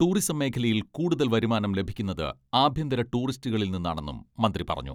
Tourism മേഖലയിൽ കൂടുതൽ വരുമാനം ലഭിക്കുന്നത് ആഭ്യന്തര ടൂറിസ്റ്റുകളിൽനിന്നാണെന്നും മന്ത്രി പറഞ്ഞു.